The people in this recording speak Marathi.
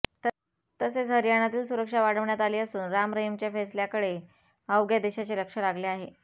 तसेच हरयाणातील सुरक्षा वाढवण्यात आली असून राम रहिमच्या फैसल्याकडे अवघ्या देशाचे लक्ष लागले आहे